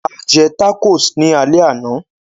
A jẹ tacos ní alẹ́ àná